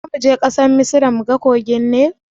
Zamuje ƙasar misra muga kogin nil?